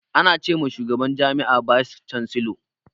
Ana ce ma shugaban jami'a bice cansilor.